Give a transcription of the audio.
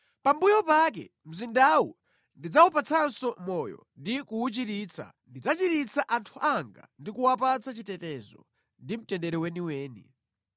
“ ‘Pambuyo pake mzindawu ndidzawupatsanso moyo ndi kuwuchiritsa; ndidzachiritsa anthu anga ndi kuwapatsa chitetezo ndi mtendere weniweni.